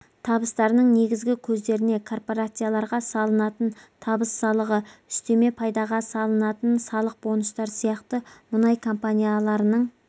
табыстарының негізгі көздеріне корпорацияларға салынатын табыс салығы үстеме пайдаға салынатын салық бонустар сияқты мұнай компанияларының